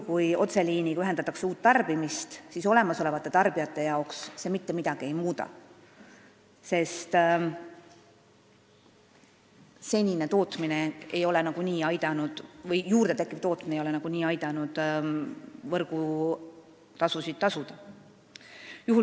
Kui otseliiniga ühendatakse uus tarbimiskoht, siis olemasolevate tarbijate jaoks see mitte midagi ei muuda, sest senine tootmine või juurde tekkiv tootmine ei ole nagunii aidanud võrgutasusid tasuda.